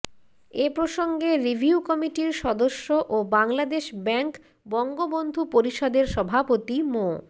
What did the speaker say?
এ প্রসঙ্গে রিভিউ কমিটির সদস্য ও বাংলাদেশ ব্যাংক বঙ্গবন্ধু পরিষদের সভাপতি মো